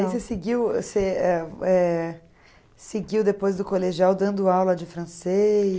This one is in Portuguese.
E aí você seguiu, seguiu depois do colegial, dando aula de francês?